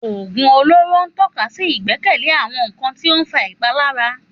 Òògùn olóró ń tọ́ka sí ìgbẹ́kẹ̀lé àwọn nkan tí ó ń fa ìpalára.